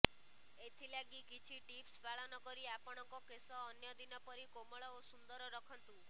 ଏଥିଲାଗି କିଛି ଟିପ୍ସ ପାଳନ କରି ଆପଣଙ୍କ କେଶ ଅନ୍ୟ ଦିନ ପରି କୋମଳ ଓ ସୁନ୍ଦର ରଖନ୍ତୁ